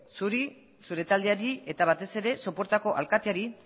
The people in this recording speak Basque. zuri zure taldeari eta batez ere sopuertako alkateari